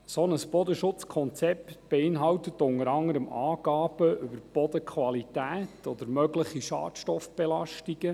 Ein solches Bodenschutzkonzept beinhaltet unter anderem Angaben über die Bodenqualität oder mögliche Schadstoffbelastungen.